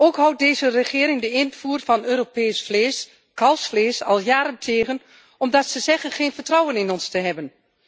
Ook houdt deze regering de invoer van Europees vlees, kalfsvlees, al jaren tegen omdat ze zegt geen vertrouwen in ons te hebben.